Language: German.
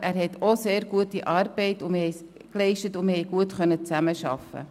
Auch er hat sehr gute Arbeit geleistet, und wir konnten gut zusammenarbeiten.